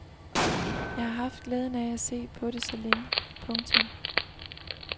Jeg har haft glæden af at se på det så længe. punktum